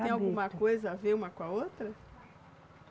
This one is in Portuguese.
Tem alguma coisa a ver uma com a outra?